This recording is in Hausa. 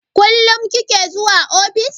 Kullum kike zuwa ofis?